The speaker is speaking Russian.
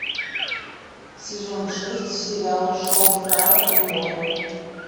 сезон шесть сериал шоу фрая и лори